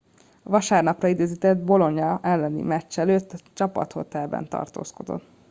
a vasárnapra időzített bolonia elleni meccs előtt a csapathotelben tartózkodott